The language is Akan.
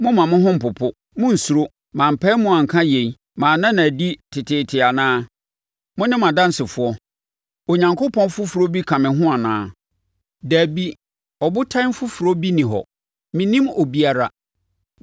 Mommma mo ho mpopo, monnsuro. Mampae mu anka yei, manna no adi teteete anaa? Mone mʼadansefoɔ. Onyankopɔn foforɔ bi ka me ho anaa? Dabi, Ɔbotan foforɔ bi nni hɔ; mennim obiara.”